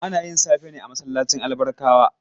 Ana yin safe ne a masallacin Albarkawa?